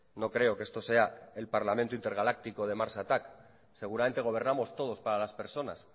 no creo que esto sea el parlamento intergaláctico de mars attack seguramente gobernamos todos para las personas